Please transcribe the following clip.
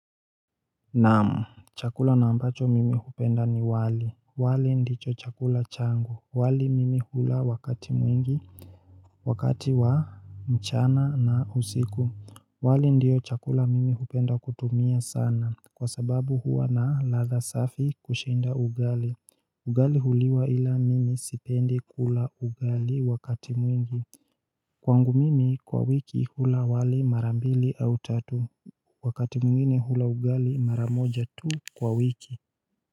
Naam Chakula na ambacho mimi hupenda ni wali wali ndicho chakula changu wali mimi hula wakati mwingi Wakati wa mchana na usiku wali ndiyo chakula mimi hupenda kutumia sana Kwa sababu huwa na ladha safi kushinda ugali Ugali huliwa ila mimi sipendi kula ugali wakati mwingi Kwangu mimi kwa wiki hula wali mara mbili au tatu wakati mwingine hula ugali maramoja tu kwa wiki.